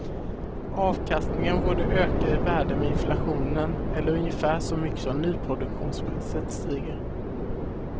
Avkastningen borde öka i värde med inflationen, eller ungefär så mycket som nyproduktionspriset stiger.